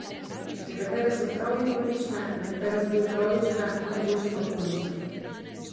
Nekatere so tragikomične, nekatere zgolj tragične, najboljše pa komične.